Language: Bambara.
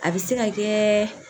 A bɛ se ka kɛ